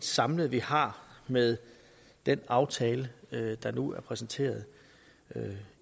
samlet vi har med den aftale der nu er præsenteret